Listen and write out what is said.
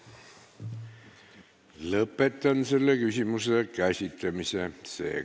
Lõpetan selle küsimuse käsitlemise.